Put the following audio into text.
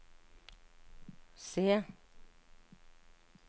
C